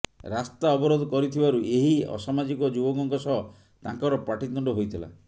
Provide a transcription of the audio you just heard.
ରାସ୍ତା ଅବରୋଧ କରିଥିବାରୁ ଏହି ଅସାମାଜିକ ଯୁବକଙ୍କ ସହ ତାଙ୍କର ପାଟିତୁଣ୍ଡ ହୋଇଥିଲା